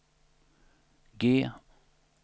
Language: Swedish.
G